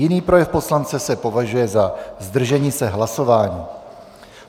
Jiný projev poslance se považuje za zdržení se hlasování.